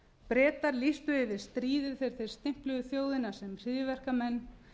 bretar lýstu yfir stríði þegar þeir stimpluðu þjóðina sem hryðjuverkamenn